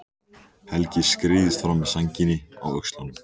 Helgi skreiðist fram með sængina á öxlunum.